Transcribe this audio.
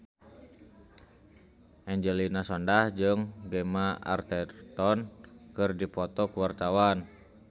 Angelina Sondakh jeung Gemma Arterton keur dipoto ku wartawan